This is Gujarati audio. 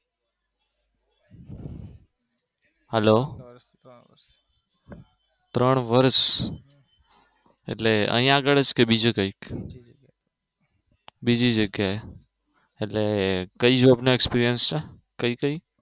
hello ત્રણ વર્ષ એટલે અહિયાં આગળ જ બીજે કઈ બીજી જગ્યાએ એટલે કઈ જોબ નો experiance છે? કઈ કઈ